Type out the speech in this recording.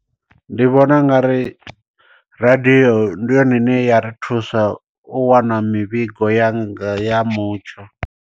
Ndi vhona u nga ri radio ndi yone ine ya ri thusa u wana mivhigo ya nga ya mutsho.